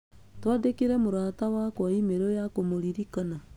Twandĩkĩre mũrata wakwa e-mail ya kũmũririkana.